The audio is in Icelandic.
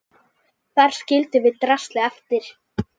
Þar skildum við draslið eftir.